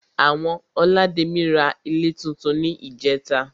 Àwọn olademi ra ilé túntún ní ìjẹ́ta